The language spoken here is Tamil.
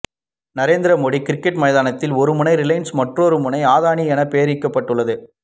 நரேந்திர மோடி கிரிக்கெட் மைதானத்தில் ஒரு முனை ரிலையன்ஸ் மற்றோரு முனை அதானி என பெயரிடப்பட்டுள்ளது